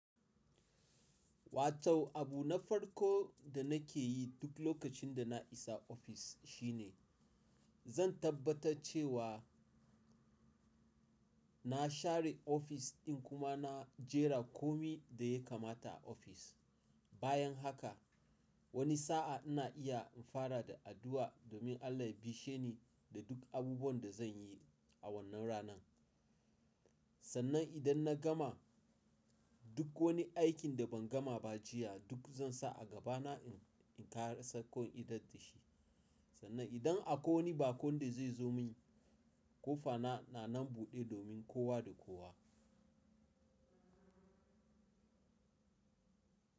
Watau abu na farko da nake yi duk lokacin da na isa ofis shine zan tabbatar cewa na share ofis ɗin kuma na jera komai da ya kamata a ofis. Bayan haka wani sa'a ina iya in fara da addu'a domin Allah ya bishe ni da duk abubuwan da zan yi a wannan ranan. Sannan idan na gama duk wani aikin da ban gama ba jiya duk zan sa a gaba na in ƙarasar ko in idar da shi. Sannan idan akwai wani baƙon da zai zo mun, ƙofana na nan buɗe domin kowa da kowa.